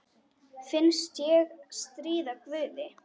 Finnst ég stríða guði.